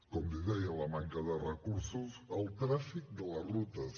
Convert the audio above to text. com li deia la manca de recursos el tràfic de les rutes